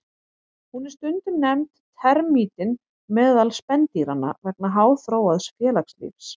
Hún er stundum nefnd termítinn meðal spendýranna vegna háþróaðs félagslífs.